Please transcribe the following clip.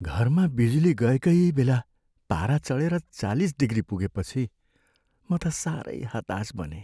घरमा बिजुली गएकै बेला पारा चढेर चालिस डिग्री पुगेपछि म त साह्रै हताश बनेँ।